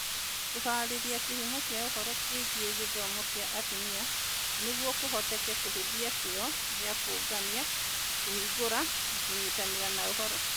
Kũhaarĩria kĩhumo kĩa ũhoro kĩgiĩ gĩthomo kĩa atumia nĩguo kũhoteke kũhũthia kĩyo gĩa kũũngania, kũhingũra, na kũnyitanĩra na ũhoro.